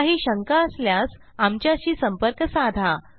काही शंका असल्यास आमच्याशी संपर्क साधा